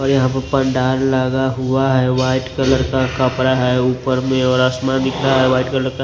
और यहां पर पंडाल लगा हुआ है वाइट कलर का कपड़ा है ऊपर में और आसमान दिख रहा है वाइट कलर का।